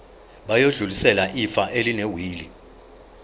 bayodlulisela ifa elinewili